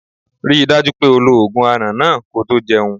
Ri dájú pé o lo ogun aràn náà ko tó jẹun.